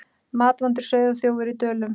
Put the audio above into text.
Matvandur sauðaþjófur í Dölum